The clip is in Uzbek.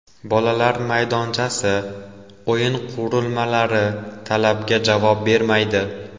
Bolalar maydonchasi, o‘yin qurilmalari talabga javob bermaydi.